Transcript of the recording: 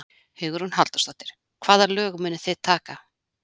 Hugrún Halldórsdóttir: Hvaða lög munuð þið taka?